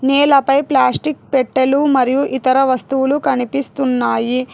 నేలపై ప్లాస్టిక్ పెట్టెలు మరియు ఇతర వస్తువులు కనిపిస్తున్నాయి.